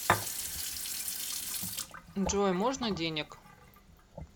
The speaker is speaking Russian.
джой можно денег